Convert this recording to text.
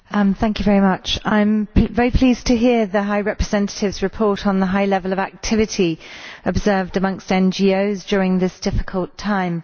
Madam President, I am very pleased to hear the High Representative's report on the high level of activity observed amongst NGOs during this difficult time.